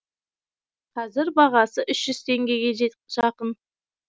қазір бағасы үш жүз теңгеге жақын